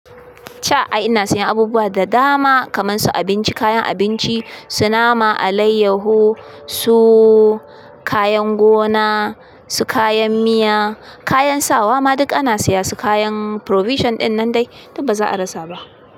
Ca ai ina siyan abubuwa da dama kaman su abinci, kayan abinci, su nama, alaiyahu, su kayan gona, su kayan miya, kayan sawa ma duk ana siya su kayan provision ɗin nan dai, duk ba za a rasa ba.